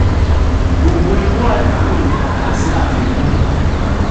gbogbo irú àdánù ni a kà sí afikun.